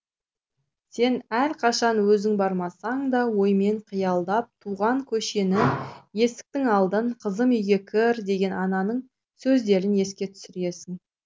сен әрқашан өзің бармасаң да оймен қиялдап туған көшені есіктің алдын қызым үйге кір деген ананың сөздерін еске түсіресің